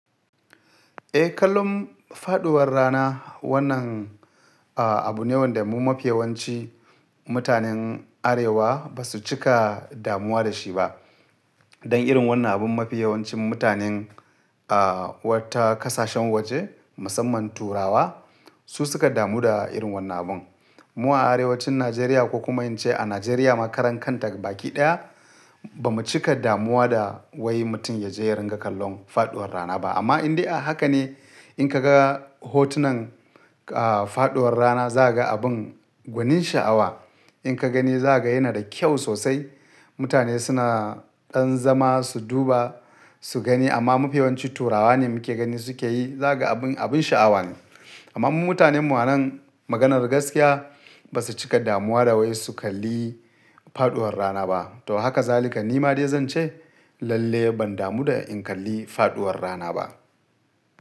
Eh, kallon faɗuwar rana wannan, ah, abu ne wanda mu mafiyawanci mutanen Arewa ba su cika damuwa da shi ba. Dan irin wannan abun mafiyawancin mutanen, aah, wata kasashen waje musamman Turawa su suka damu da irin wannan abun. Mu a Arewacin Najeriya ko kuma in ce a Najeriya ma karan kanta baki ɗaya ba mu cika damuwa da wai mutum ya je ya ringa kallon faɗuwar rana ba. Amma in dai a haka ne in ka ga hotunan, ah, faɗuwar rana za ka ga abin gwanin sha'awa. In ka gani za ka ga yana da kyau sosai. Mutane suna ɗan zama su duba, su gani amma mafiyawanci Turawa ne muke gani suke yi. Za ka ga abin, abin sha'awa ne. Amma mu mutanen mu nan maganar gaskiya ba su cika damuwa da wai su kalli faɗuwar rana ba. To haka zalika ni ma dai zan ce lalle ban damu da in kalli faɗuwar rana ba.